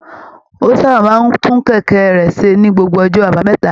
Ó sábà máa ń tún kẹ̀kẹ́ rẹ̀ ṣe ní gbogbo ọjọ́ àbámẹ́ta